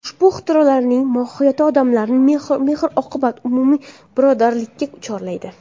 Ushbu ixtirolarning mohiyati odamlarni mehr-oqibat, umumiy birodarlikka chorlaydi.